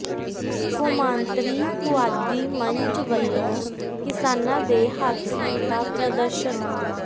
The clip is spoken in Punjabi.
ਕੌਮਾਂਤਰੀ ਪੁਆਧੀ ਮੰਚ ਵਲੋਂ ਕਿਸਾਨਾਂ ਦੇ ਹੱਕ ਕੀਤਾ ਪ੍ਰਦਰਸ਼ਨ